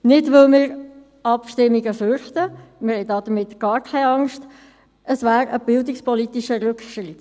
Dies nicht, weil wir Abstimmungen fürchten, wir haben gar keine Angst davor, es wäre ein bildungspolitischer Rückschritt.